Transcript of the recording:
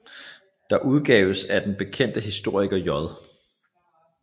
Det udgaves af den bekendte historiker J